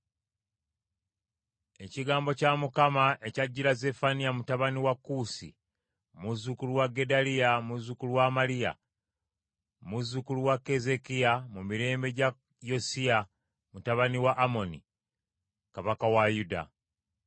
Ekigambo kya Mukama ekyajjira Zeffaniya mutabani wa Kuusi, muzzukulu wa Gedaliya, muzzukulu wa Amaliya, muzzukulu wa Keezeekiya, mu mirembe gya Yosiya mutabani wa Amoni, Kabaka wa Yuda.